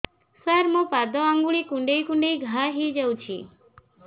ସାର ମୋ ପାଦ ଆଙ୍ଗୁଳି କୁଣ୍ଡେଇ କୁଣ୍ଡେଇ ଘା ହେଇଯାଇଛି